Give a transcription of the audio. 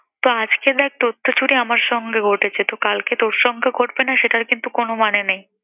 তো আজকে দেখ তোর তো জুটি আমার সঙ্গে ঘটেছে, তো কালকে তোর সঙ্গে ঘটবে না সেটার কিন্ত কোন মানে নেই।